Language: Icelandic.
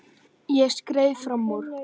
Ég skreið fram úr.